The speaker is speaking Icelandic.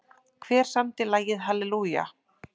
Hver samdi lagið Hallelujah?